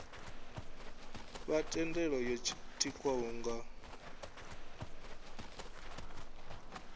fha thendelo yo tikwaho nga